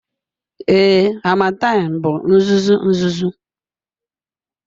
Ee, harmattan bụ uzuzu uzuzu.